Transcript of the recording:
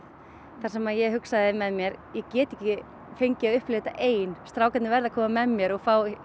þar sem ég hugsaði með mér ég get ekki fengið að upplifa þetta ein strákarnir verða að koma með mér og